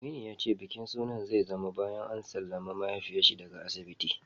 Aminu ya ce bikin sunan zai zama bayan an sallami mahaifiyar daga asibiti.